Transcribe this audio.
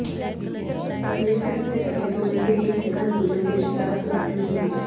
प्रदेश के सबसे डकैतों में से एक जगन गुर्जर के रिश्तेदार को लाठियों से पीटा